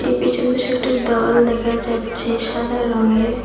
এ পেছন বেশ একটা দেওয়াল দেখা যাচ্ছে সাদা রঙের।